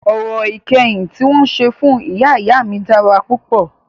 Orò ìkẹyìn tí wọn ṣe fún ìyá ìyá mí dára púpọ̀.